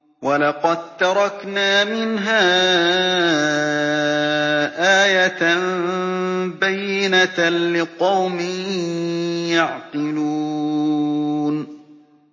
وَلَقَد تَّرَكْنَا مِنْهَا آيَةً بَيِّنَةً لِّقَوْمٍ يَعْقِلُونَ